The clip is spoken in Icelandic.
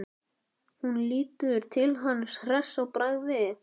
Hún lítur til hans hress í bragði.